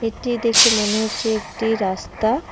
এটি দেখে মনে হচ্ছে একটি রাস্তা।